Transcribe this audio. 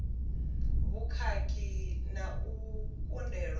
vhukhakhi na u kundelwa zwi